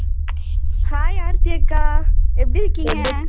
hai Aarthi அக்கா எப்படி இருக்கீங்க?